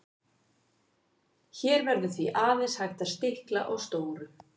hér verður því aðeins hægt að stikla á stóru